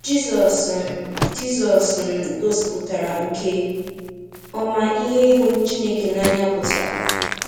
Jizọs um Jizọs um gosipụtara nke ọma ihe ịhụ Chineke n'anya pụtara.